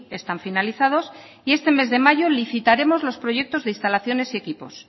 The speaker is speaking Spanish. están finalizados y este mes de mayo licitaremos los proyectos de instalaciones y equipos